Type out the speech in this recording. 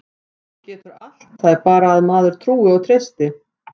Hann getur allt, það er bara að maður trúi og treysti.